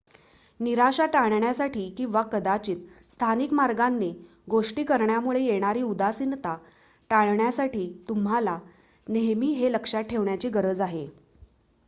निराशा टाळण्यासाठी किंवा कदाचित स्थानिक मार्गांने गोष्टी करण्यामुळे येणारी उदासीनता टाळण्यासाठी तुम्हाला नेहमी हे लक्षात ठेवण्याची गरज आहे